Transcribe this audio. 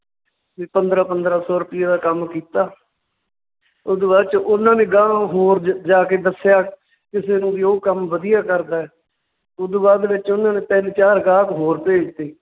ਵੀ ਪੰਦਰਾਂ ਪੰਦਰਾਂ ਸੌ ਰੁਪਈਏ ਦਾ ਕੰਮ ਕੀਤਾ ਓਦੂ ਬਾਅਦ ਚ ਉਨਾਂ ਨੇ ਗਾਂਹ ਹੋਰ ਜ~ ਜਾ ਕੇ ਦੱਸਿਆ ਕਿਸੇ ਨੂੰ ਵੀ ਉਹ ਕੰਮ ਵਧੀਆ ਕਰਦਾ ਹੈ, ਓਦੂ ਬਾਅਦ ਦੇ ਵਿੱਚ ਉਹਨਾਂ ਨੇ ਤਿੰਨ ਚਾਰ ਗਾਹਕ ਹੋਰ ਭੇਜਤੇ